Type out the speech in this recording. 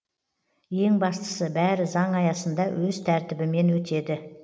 ең бастысы бәрі заң аясында өз тәртібімен өтеді